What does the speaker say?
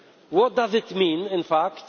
What does this mean in fact?